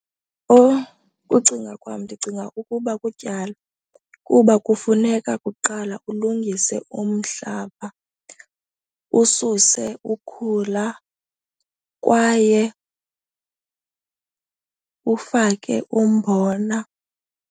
Ukucinga kwam, ndicinga ukuba kutyala kuba kufuneka kuqala ulungise umhlaba, ususe ukhula kwaye ufake umbona.